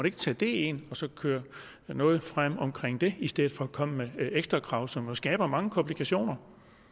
ikke tage det ind og så køre noget frem omkring det i stedet for at komme med ekstra krav som jo skaber mange komplikationer